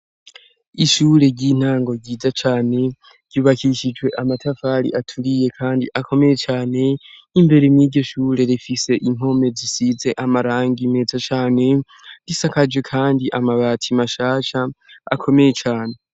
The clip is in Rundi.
Ishure ry'intango ryiza cane ryubakishijwe amatafari aturiye kandi akomeye cane, imbere yiryo shure rifise impome zisize amarangi meza cane, risakaje kandi amabati mashasha akomeye cane.